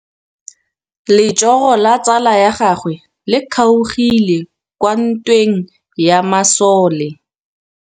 Letsôgô la tsala ya gagwe le kgaogile kwa ntweng ya masole.